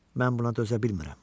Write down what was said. Mən buna dözə bilmirəm.